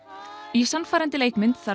í sannfærandi leikmynd þarf